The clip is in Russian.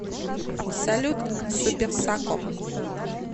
салют супер сако